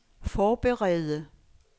forberede